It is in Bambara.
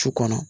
Su kɔnɔ